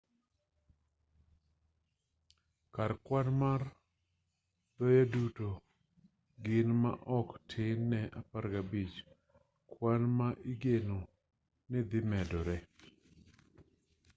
kar kwan mar thoye duto gin maok tin ne 15 kwan ma igeno ni dhi medore